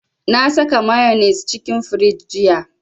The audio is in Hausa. Na saka mayonnaise cikin firiji jiya